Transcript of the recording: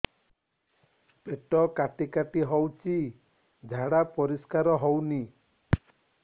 ପେଟ କାଟି କାଟି ହଉଚି ଝାଡା ପରିସ୍କାର ହଉନି